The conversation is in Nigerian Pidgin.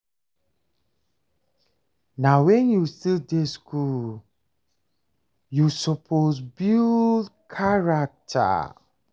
Na wen you still dey skool you suppose build character.